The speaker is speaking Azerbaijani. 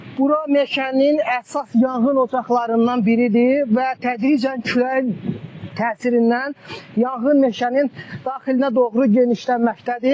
Bura meşənin əsas yanğın ocaqlarından biridir və tədricən küləyin təsirindən yanğın meşənin daxilinə doğru genişlənməkdədir.